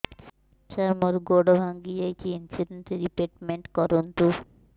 ସାର ମୋର ଗୋଡ ଭାଙ୍ଗି ଯାଇଛି ଇନ୍ସୁରେନ୍ସ ରିବେଟମେଣ୍ଟ କରୁନ୍ତୁ